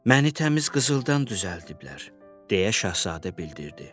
Məni təmiz qızıldan düzəldiblər, deyə şahzadə bildirdi.